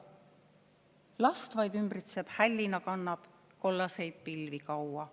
/ Last vaid ümbritseb, hällina kannab / kollaseid pilvi kaua.